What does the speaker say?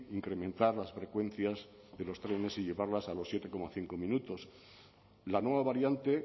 incrementar las frecuencias de los trenes y llevarlas a los siete coma cinco minutos la nueva variante